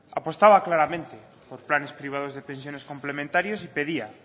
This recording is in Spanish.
apostaba claramente por planes privados de pensiones complementarias y pedía